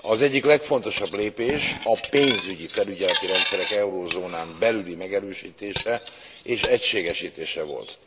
Az egyik legfontosabb lépés a pénzügyi felügyeleti rendszerek euróövezeten belüli megerősítése és egységesítése volt.